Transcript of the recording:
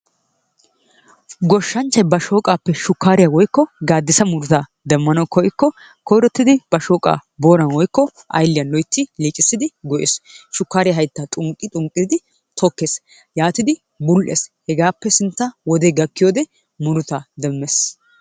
Gooshanchchay ba shooqqappe shuukkariyaa woykko gaadissa murutaa demmanawu koykko koyrottidi ba shooqqaa booran woykko aylliyaan loytti liiqisidi goyyees. Shukkariyaa hayttaa xunqqi xunqqi tokkees. Yaatidi bul"ees. hegaappe sintta wodee gakkiyoode murutaa demmees.